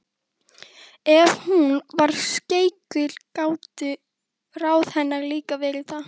Ef hún var skeikul gátu ráð hennar líka verið það.